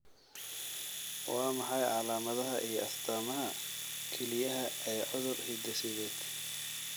Waa maxay calaamadaha iyo astaamaha kelyaha ee cudur hidde-sideed ?